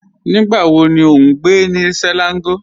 Nígbà wò ní o n gbẹ̀ ní Selangọ̀?